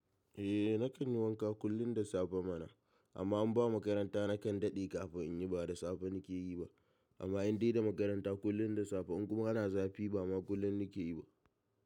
Eh nakan yi wanka kullum da safe mana, amma in ba makaranta nakan daɗe kafin in yi, ba da safe nake yi ba. Amma in dai da makaranta kullum da safe in kuma ana zafi ba ma kullum nake yi ba.